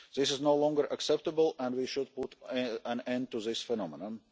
This is no longer acceptable and we should put an end to this phenomenon.